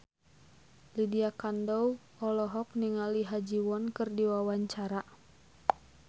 Lydia Kandou olohok ningali Ha Ji Won keur diwawancara